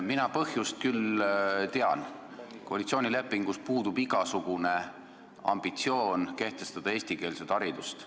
Mina küll tean põhjust – koalitsioonilepingus puudub igasugune ambitsioon kehtestada eestikeelset haridust.